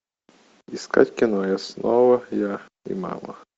искать кино я снова я и мама